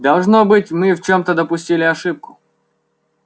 должно быть мы в чём-то допустили ошибку